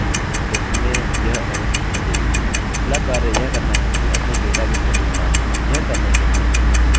यह करने के लिए हम mysql_select_db फंक्शनfunctionका उपयोग करते हैं